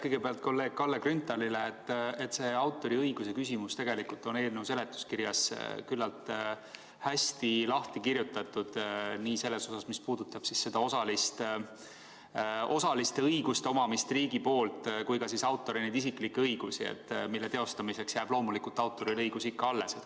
Kõigepealt kolleeg Kalle Grünthalile, et see autoriõiguse küsimus on tegelikult eelnõu seletuskirjas küllalt hästi lahti kirjutatud nii selles osas, mis puudutab osalist õiguste omamist riigi poolt, kui ka autori isiklikke õigusi, mille teostamiseks jääb loomulikult autorile õigus ikka alles.